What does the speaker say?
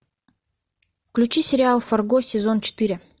включи сериал фарго сезон четыре